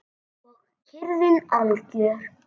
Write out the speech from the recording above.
Og kyrrðin algjör.